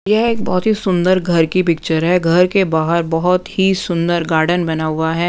यह एक बहुत ही सुंदर घर की पिक्चर हैं घर के बाहर बहुत ही सुंदर गार्डन बना हुआ हैं।